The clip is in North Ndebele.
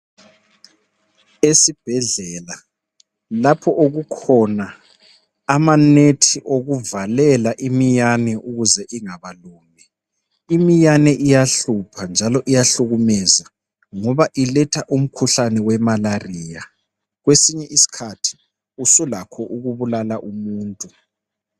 Esibhedlela lapho okukhona amanethi okuvalela iminyane ukuze ingabalumi, iminyane iyahlupha njalo iyahlukumeza ngoba iletha umkhuhlane we imalariya kwesinye isikhathi isilakho ukubulala umuntu.